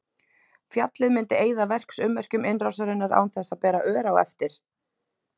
Fjallið myndi eyða verksummerkjum innrásarinnar án þess að bera ör á eftir.